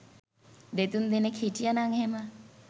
දෙතුන් දෙනෙක් හිටියනං එහෙම